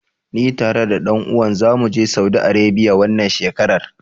Ni tare da ɗan uwan ta zamu je Saudi Arebiya, wannan shekarar.